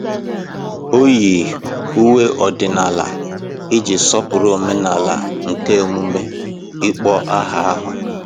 O yi uwe ọdịnala iji sọpụrụ omenala nke emume ịkpọ aha ahụ.